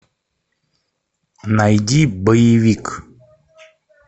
найди боевик